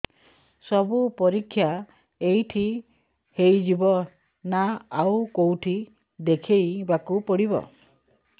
ସବୁ ପରୀକ୍ଷା ଏଇଠି ହେଇଯିବ ନା ଆଉ କଉଠି ଦେଖେଇ ବାକୁ ପଡ଼ିବ